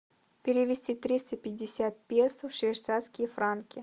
перевести триста пятьдесят песо в швейцарские франки